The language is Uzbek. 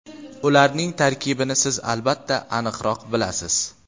Ularning tarkibini siz albatta aniqroq bilasiz.